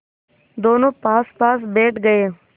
दोेनों पासपास बैठ गए